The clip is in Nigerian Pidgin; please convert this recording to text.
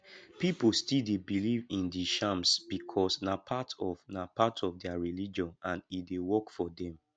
pipo still dey believe in di charms because na part of na part of their religion and e dey work for them